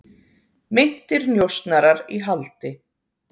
Meintir njósnarar í haldi